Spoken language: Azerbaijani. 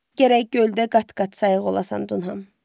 Gərək göldə qat-qat sayıq olasan, Dunham.